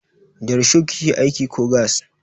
Da risho kike aiki ko gas?